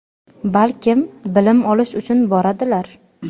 balkim bilim olish uchun boradilar.